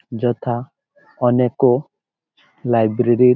যথা অনেকেো লাইব্রেরির ---